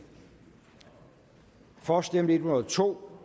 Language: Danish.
for stemte en hundrede og to